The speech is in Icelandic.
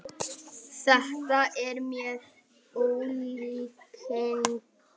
Þetta er með ólíkindum